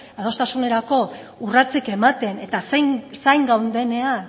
adostasunerako urratsik ematen eta zain gaudenean